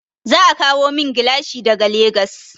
Za a kawo min gilashi daga Legas.